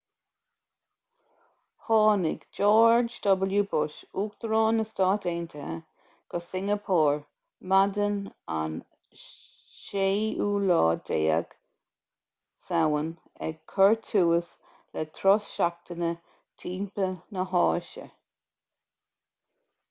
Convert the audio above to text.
tháinig george w bush uachtarán na stát aontaithe go singeapór maidin an 16 samhain ag cur tús le turas seachtaine timpeall na háise